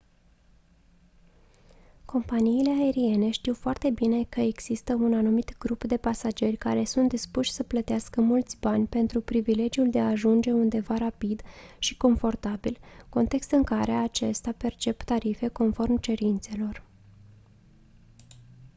companiile aeriene știu foarte bine că există un anumit grup de pasageri care sunt dispuși să plătească mulți bani pentru privilegiul de a ajunge undeva rapid și confortabil context în care acestea percep tarife conform cerințelor